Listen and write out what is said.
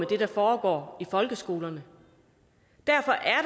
det der foregår i folkeskolerne derfor er